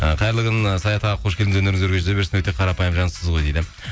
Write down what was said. ы қайырлы күн ы саят аға қош келдіңіз өнеріңіз өрге жүзе берсін өте қарапайым жансыз ғой дейді